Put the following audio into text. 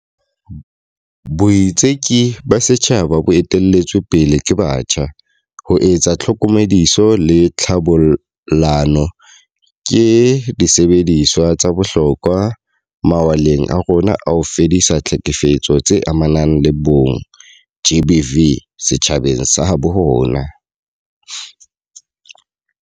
Boitseki ba setjhaba bo ete-lletsweng pele ke batjha, ho etsa tlhokomediso le tlhabollano, ke disebediswa tsa bohlokwa mawaleng a rona a ho fedisa ditlhekefetso tse amanang le bong GBV setjhabeng sa habo rona.